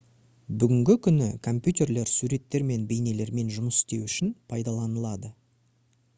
бүгінгі күні компьютерлер суреттер мен бейнелермен жұмыс істеу үшін пайдаланылады